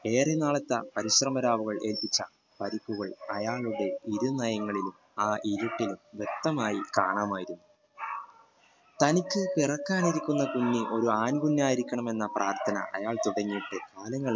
ഏറെ നാളത്തെ പരിശ്രമരാവുകളുടെ ദിശ പരിക്കുകൾ അയാളുടെ ഇരുനയങ്ങൾ ആ ഇരുട്ടിൽ വെക്തതമായി കാണാമായിരുന്നു തനിക്കു പെറകാൻ ഇരികുനെ കുഞ്ഞു ഒരു ആൺ കുഞ്ഞു ആയിരിക്കണം എന്ന പ്രാത്ഥന അയാൾ തുടങ്ങയിട്ടു കാലങ്ങളേറെയായി